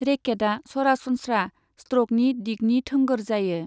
रेकेटआ सरासनस्रा स्ट्र'कनि दिगनि थोंगोर जायो।